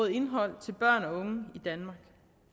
indhold til børn og unge i danmark